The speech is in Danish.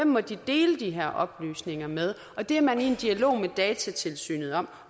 må dele de her oplysninger med og det er man i en dialog med datatilsynet om